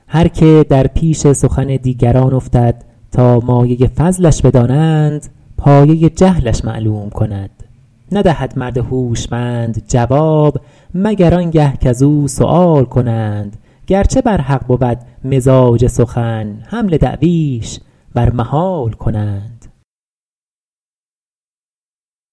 هر که در پیش سخن دیگران افتد تا مایه فضلش بدانند پایه جهلش معلوم کند ندهد مرد هوشمند جواب مگر آن گه کز او سؤال کنند گرچه بر حق بود مزاج سخن حمل دعویش بر محال کنند